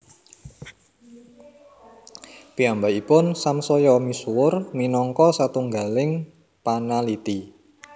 Piyambakipun samsaya misuwur minangka satunggaling panaliti